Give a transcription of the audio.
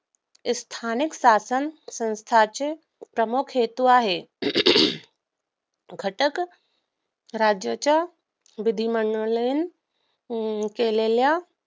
स्थानिक शासनसंस्थेचे प्रमुख हेतू आह घटकराज्याच्या विधिमंडळाने केलेल्या